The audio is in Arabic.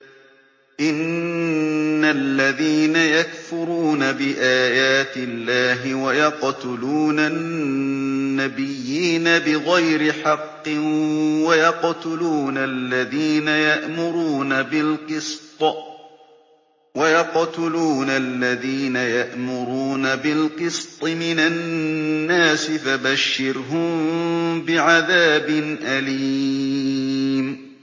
إِنَّ الَّذِينَ يَكْفُرُونَ بِآيَاتِ اللَّهِ وَيَقْتُلُونَ النَّبِيِّينَ بِغَيْرِ حَقٍّ وَيَقْتُلُونَ الَّذِينَ يَأْمُرُونَ بِالْقِسْطِ مِنَ النَّاسِ فَبَشِّرْهُم بِعَذَابٍ أَلِيمٍ